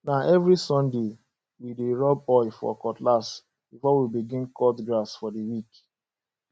na every sunday we dey rub oil for cutlass before we begin cut grass for the week